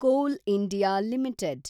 Kol India limited